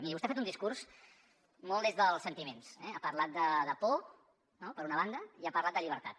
miri vostè ha fet un discurs molt des dels sentiments eh ha parlat de por no per una banda i ha parlat de llibertat